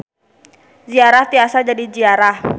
Ziarah tiasa jadi jiarah.